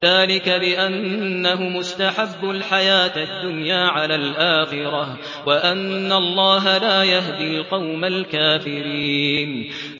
ذَٰلِكَ بِأَنَّهُمُ اسْتَحَبُّوا الْحَيَاةَ الدُّنْيَا عَلَى الْآخِرَةِ وَأَنَّ اللَّهَ لَا يَهْدِي الْقَوْمَ الْكَافِرِينَ